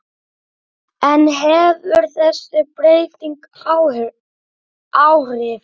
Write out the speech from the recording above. En hefur þessi breyting áhrif?